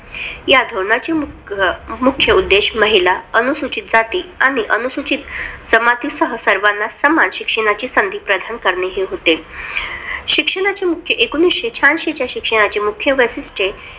या धोरणाचा मुख्य उद्देश महिला, अनुसूचित जाती आणि अनुसूचित जमातींसह सर्वांना समान शिक्षणाची संधी प्रदान करणे हे होते. शिक्षणाचे मुख्य एकोणविशे शहाऐंशी चे शिक्षणाचे मुख्य वैशिष्ट्ये